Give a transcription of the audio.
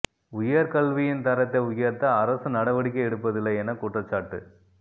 உயர் கல்வியின் தரத்தை உயர்த்த அரசு நடவடிக்கை எடுப்பதில்லை என குற்றச்சாட்டு